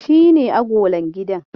Shi ne agolan gidan?